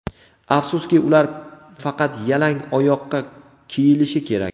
Afsuski, ular faqat yalang oyoqqa kiyilishi kerak.